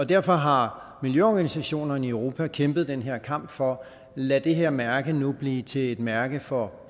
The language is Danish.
derfor har miljøorganisationerne i europa kæmpet den her kamp for at lade det her mærke blive til et mærke for